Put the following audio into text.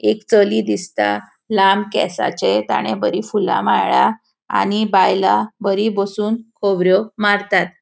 एक चली दिसता. लांब केसाचे ताणे बोरी फूला माळा आणि बायला बरी बोसोन खोबर्यो मारतात.